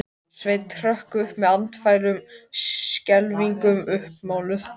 Og nýi vinurinn situr í sætinu hans, geislandi af kátínu.